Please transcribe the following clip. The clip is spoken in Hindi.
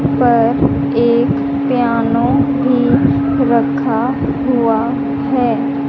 पर एक पियानो भी रखा हुआ है।